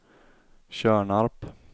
Tjörnarp